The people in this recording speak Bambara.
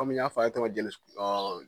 Komi n y'a f'a ye cogo min jeli